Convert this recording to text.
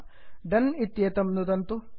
दोने डन् इत्येतं नुदन्तु